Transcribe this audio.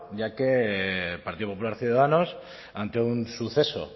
ya que el partido popular ciudadanos ante un suceso